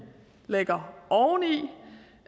lægger oveni